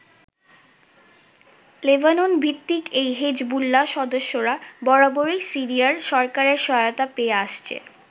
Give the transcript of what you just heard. লেবাননভিত্তিক এই হেজবুল্লাহ সদস্যরা বরাবরই সিরিয়ার সরকারের সহায়তা পেয়ে আসছে।